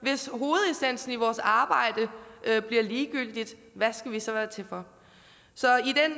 og i vores arbejde bliver ligegyldigt hvad skal vi så være til for så